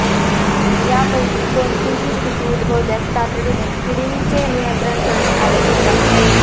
या पैकी कोणतीही स्थिती उदभवल्यास तातडीने किडींचे नियंत्रण करणे आवश्यक आहे